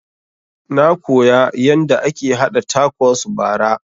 Na koya yanda ake haɗa takos bara